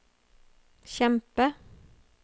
kjempe